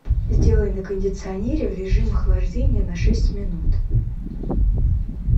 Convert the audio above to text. сделай на кондиционере в режим охлаждения на шесть минут